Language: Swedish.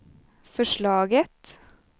förslaget